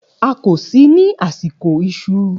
A kò sí ní àsìkò ìṣù.